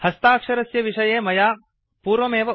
हस्ताक्षरस्य विषये मया उक्तम् पूर्वमेव